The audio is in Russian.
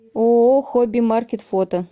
ооо хобби маркет фото